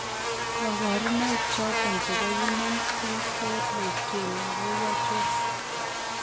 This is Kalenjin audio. kabarunaik choton chebo human T cell leukemia ko achon?